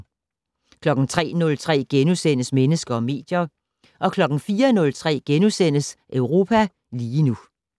03:03: Mennesker og medier * 04:03: Europa lige nu *